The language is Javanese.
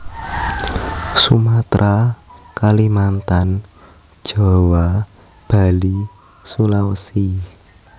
Sumatera Kalimantan Jawa Bali Sulawesi